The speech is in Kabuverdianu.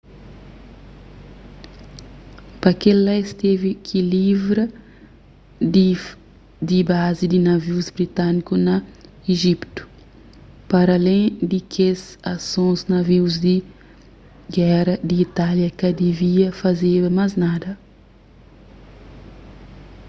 pa kel-la es tevi ki livra di bazi y navius britâniku na ijiptu paralén di kes asons navius di géra di itália ka divia fazeba más nada